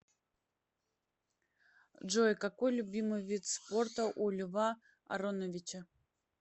джой какой любимый вид спорта у льва ароновича